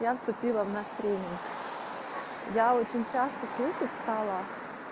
я вступила в наш тренинг я очень часто слышать стала